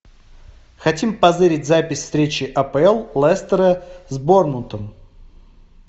хотим позырить запись встречи апл лестера с борнмутом